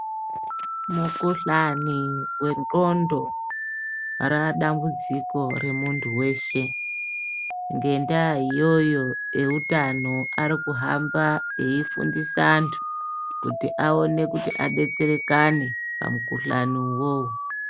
Mikhuhlani wendxondo raadambudziko remuntu weshe. Ngendaa iyoyo eutano arikuhamba eifundisa antu kuti aone kuti adetserekane pamukuhlani uwowo.